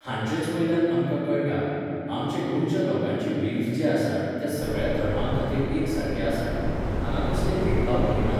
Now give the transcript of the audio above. हाचेंच वयल्यान आमकां कळटा, आमचे गोंयच्या लोकांचे व्हीव्ज जे आसात ते सगळ्या धर्मां खातीर एक सारके आसात. हांगा कसले भेदभाव करीनात.